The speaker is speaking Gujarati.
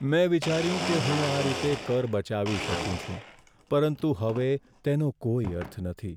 મેં વિચાર્યું કે હું આ રીતે કર બચાવી શકું છું, પરંતુ હવે તેનો કોઈ અર્થ નથી.